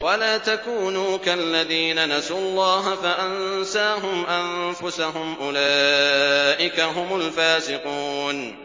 وَلَا تَكُونُوا كَالَّذِينَ نَسُوا اللَّهَ فَأَنسَاهُمْ أَنفُسَهُمْ ۚ أُولَٰئِكَ هُمُ الْفَاسِقُونَ